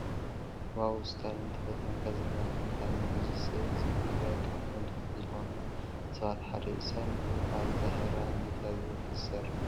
ዋው እስታሊን ተፈታዊ ጋዜጠኛን ተንታንን እዩ። እዚ ሰብ እዚ ንትግራይ ካብቶም ድምፂ ዝኮንዋ ሰባት ሓደ እዩ። እስታሊን ድማ ኣብ ዛህራ ሚድያ ዝብል እዩ ዝስርሕ።